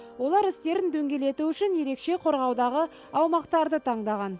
олар істерін дөңгелету үшін ерекше қорғаудағы аумақтарды таңдаған